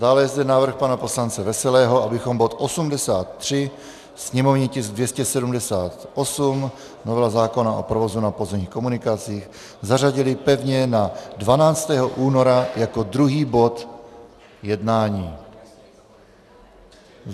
Dále je zde návrh pana poslance Veselého, abychom bod 83, sněmovní tisk 278, novela zákona o provozu na pozemních komunikacích, zařadili pevně na 12. února jako druhý bod jednání.